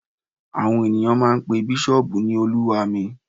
Àwọn ènìyàn máa n pe bísọ̀ọ̀bù ní olúwa mi